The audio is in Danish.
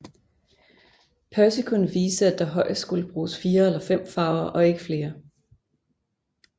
Percy kunne vise at der højest skulle bruges 4 eller 5 farver og ikke flere